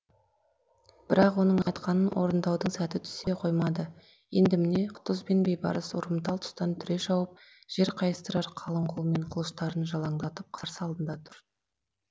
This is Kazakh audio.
бірақ оның айтқанын орындаудың сәті түсе қоймады енді міне құтыз бен бейбарыс ұрымтал тұстан түре шауып жер қайыстырар қалың қолмен қылыштарын жалаңдатып қарсы алдында тұр